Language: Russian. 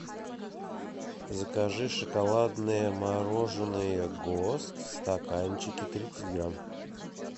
закажи шоколадное мороженое гост в стаканчике тридцать грамм